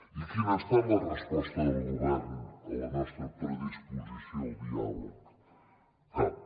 i quina ha estat la resposta del govern a la nostra predisposició al diàleg cap